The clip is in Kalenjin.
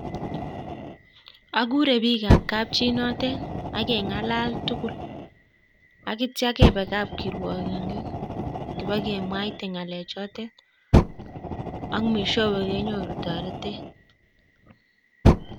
Akure biik kap chinoten ageng'alal tugul tatcho kebe kapkirwakindet kibakemwa ng'alek choten ak mwishowe kenyoru toretet